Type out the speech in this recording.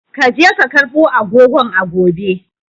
Ka je ka karbo agogon a gobe!